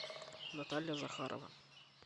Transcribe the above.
наталья захарова